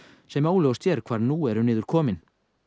sem óljóst er hvar nú eru niðurkomin